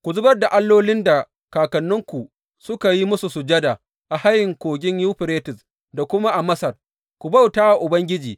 Ku zubar da allolin da kakanninku suka yi musu sujada a hayin Kogin Yuferites da kuma a Masar, ku bauta wa Ubangiji.